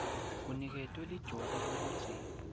uniketwe lijoke lekutsi